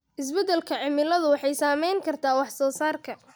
Isbeddelka cimiladu waxay saameyn kartaa wax soo saarka.